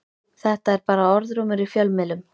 Þetta er bara orðrómur í fjölmiðlum.